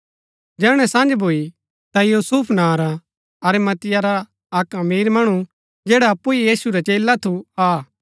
जैहणै सँझ भूई ता यूसुफ नां रा अरिमतिया रा अक्क अमीर मणु जैडा अप्पु ही यीशु रा चेला थु आ